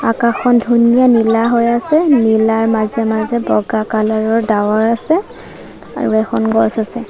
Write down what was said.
আকাশখন ধুনীয়া নীলা হৈ আছে নীলাৰ মাজে-মাজে বগা কালাৰ ৰ ডাৱৰ আছে আৰু এখন গছ আছে।